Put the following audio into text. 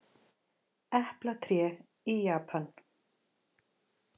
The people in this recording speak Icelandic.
Eplatré í Japan.